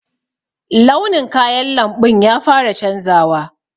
Launin kayan lamɓun ya fara canzawa.